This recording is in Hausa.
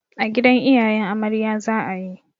A gidan iyayen amarya za a yi.